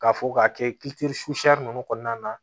K'a fɔ k'a kɛ susɛrɛ ninnu kɔnɔna na